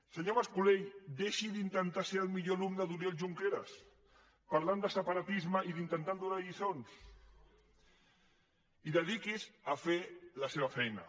senyor mas colell deixi d’intentar ser el millor alumne d’oriol junqueras parlant de separatisme i intentant donar lliçons i dediqui’s a fer la seva feina